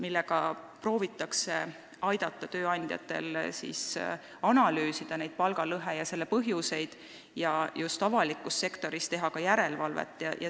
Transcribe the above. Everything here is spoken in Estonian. Eesmärk on innustada tööandjaid analüüsima palgalõhet ja selle põhjuseid avalikus sektoris, samuti teha sellekohast järelevalvet.